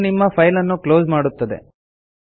ಅದು ನಿಮ್ಮ ಫೈಲ್ ಅನ್ನು ಕ್ಲೋಸ್ ಮಾಡುತ್ತದೆ